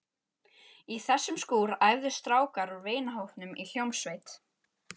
Í þessum skúr æfðu strákar úr vinahópnum í hljómsveit.